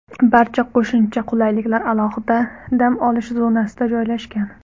Barcha qo‘shimcha qulayliklar alohida dam olish zonasida joylashgan.